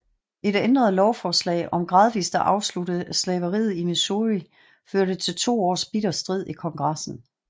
Et ændret lovforslag om gradvist at afslutte slaveriet i Missouri førte til to års bitter strid i Kongressen